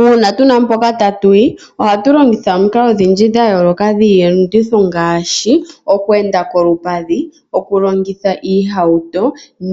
Uuna tuna mpoka tatuyi, ohatu longitha omikalo odhindji dhayooloka dhiiyenditho ngaashi, okweenda kolupadhi, okulongitha iihauto,